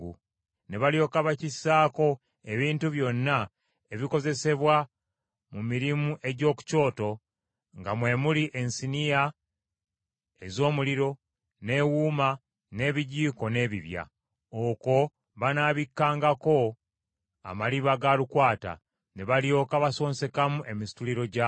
ne balyoka bakissaako ebintu byonna ebikozesebwa mu mirimu gy’oku kyoto, nga mwe muli ensiniya ez’omuliro, n’ewuuma, n’ebijiiko n’ebibya. Okwo banaabikkangako amaliba ga lukwata, ne balyoka basonsekamu emisituliro gyakyo.